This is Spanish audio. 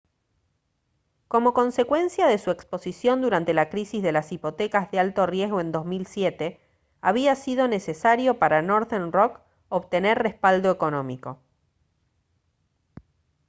como consecuencia de su exposición durante la crisis de las hipotecas de alto riesgo en 2007 había sido necesario para northern rock obtener respaldo económico